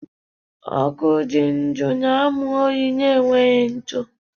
Ọkụ dị ndụ na-amụ oyi na-enweghị ntụ